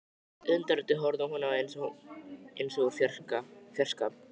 Undrandi horfði hún á hann eins og úr fjarska.